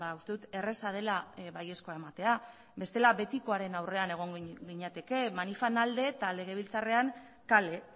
uste dut erraza dela baiezkoa ematea bestela betikoaren aurrean egongo ginateke manifen alde eta legebiltzarrean kale